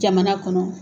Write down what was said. Jamana kɔnɔ